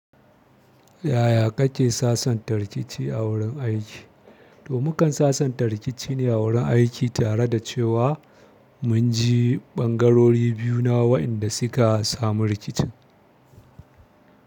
Yaya kake sasanta rikici a wurin aiki? To mukan sassanta rikici ne a wurin aiki, tare da cewa mun ji ɓangarori biyu na waɗanda suka samu rikicin.